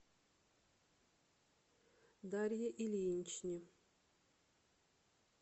дарье ильиничне